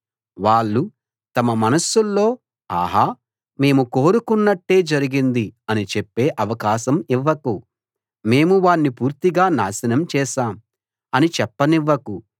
వాళ్ళు తమ మనస్సుల్లో ఆహా మేము కోరుకున్నట్టే జరిగింది అని చెప్పే అవకాశం ఇవ్వకు మేము వాణ్ణి పూర్తిగా నాశనం చేశాం అని చెప్పనివ్వకు